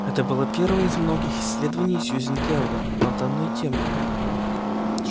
это было первое из многих исследований сюзен кэлвин на данную тему